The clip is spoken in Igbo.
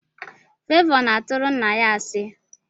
Favor na aturu nna ya asi.